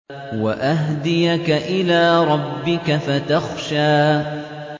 وَأَهْدِيَكَ إِلَىٰ رَبِّكَ فَتَخْشَىٰ